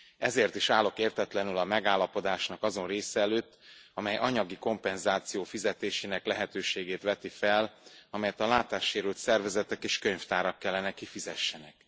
Ezért is állok értetlenül a megállapodásnak azon része előtt, amely anyagi kompenzáció fizetésének lehetőségét veti fel, amelyet a látássérült szervezetek és könyvtárak kellene kifizessenek.